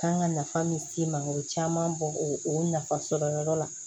Kan ka nafa min s'i ma o bɛ caman bɔ o nafasɔrɔyɔrɔ la